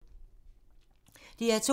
DR2